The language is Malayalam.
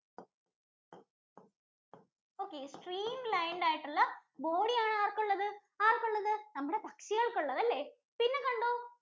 Okay, stream lined ആയിട്ടുള്ള body ആണ് ആർക്കുള്ളത്? ആർക്കുള്ളത്? നമ്മുടെ പക്ഷികൾക്കുള്ളത് അല്ലെ. പിന്നെ കണ്ടോ